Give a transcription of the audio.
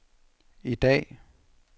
i dag